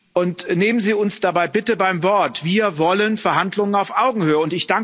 Und nehmen Sie uns dabei bitte beim Wort Wir wollen Verhandlungen auf Augenhöhe.